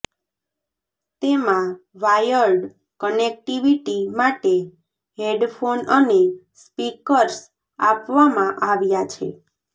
તેમા wired connectivity માટે headphone અને સ્પીકર્સ આપવામાં આવ્યાં છે